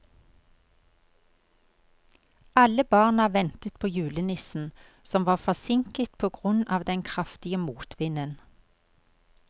Alle barna ventet på julenissen, som var forsinket på grunn av den kraftige motvinden.